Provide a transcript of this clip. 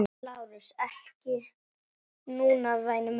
LÁRUS: Ekki núna, væni minn.